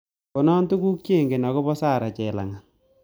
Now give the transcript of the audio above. Konon tugul chengen ago po sarah chelangat